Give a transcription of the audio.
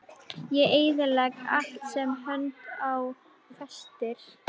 Ég eyðilegg allt sem hönd á festir.